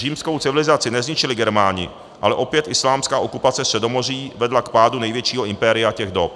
Římskou civilizaci nezničili Germáni, ale opět islámská okupace Středomoří vedla k pádu největšího impéria těch dob.